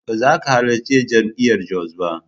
Ba za ka halarci Jami'ar Jos ba.